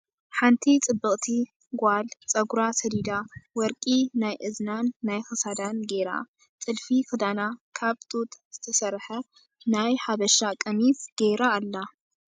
ሓንቲ ፅብቅቲ ጋል ፀጉራ ሰዲዳ ወርቂ ናይ እዝናን ናይ ክሳዳን ጌራ ጥልፊ ክዳና ካብ ጡጥ ዝተሰርሐ ናይ ሓበሻ ቀሚስ ገራ ኣላ ።